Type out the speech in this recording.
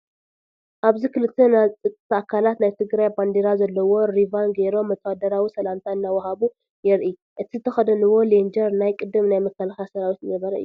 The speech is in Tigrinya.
ኣብዚ ክልተ ናይ ፀጥታ ኣካላት ናይ ትግራይ ባንዴራ ዘለዎ ሪቫን ገይሮም ወታደራዊ ሰላምታ እንትዋሃሃቡ የርኢ፡፡ እቲ ዝተኸደኑዎ ሌንጀር ናይ ቅድም ናይ መከላከያ ሰራዊት ዝነበረ እዩ፡፡